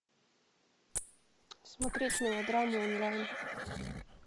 смотреть мелодраму онлайн